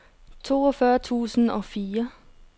toogfyrre tusind og fire